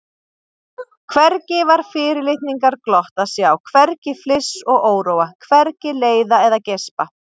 Hvergi var fyrirlitningarglott að sjá, hvergi fliss og óróa, hvergi leiða eða geispa.